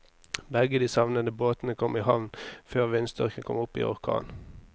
Begge de savnede båtene kom i havn før vindstyrken kom opp i orkan.